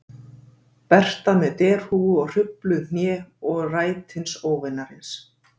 Berta með derhúfu og hrufluð hné- og rætins óvinarins